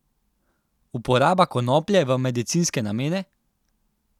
Uporaba konoplje v medicinske namene?